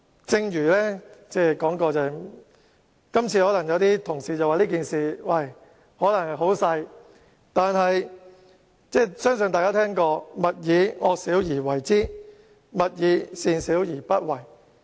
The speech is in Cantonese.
正如我剛才所說，雖然有同事認為這件事並不嚴重，但我相信大家也聽過"勿以惡小而為之，勿以善小而不為"。